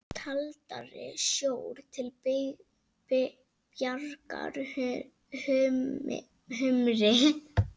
Kaldari sjór til bjargar humri?